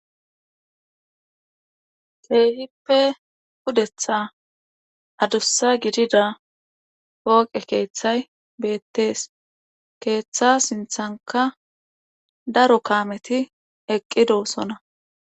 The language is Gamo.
Keehippe pudeththa aduussa gidida pooqe keeththay beetees. keeththa sinththankka daro kaamethi eqqidosona.